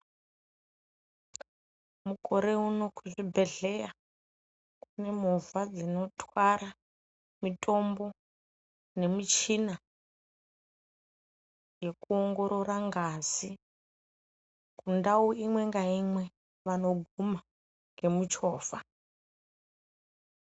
Mukore uno kuzvibhedhleya kunemovha dzinotwara mitombo nemichina yekuongorora ngazi. Mundau imwe ngaimwe vanoguma ngemuchovha.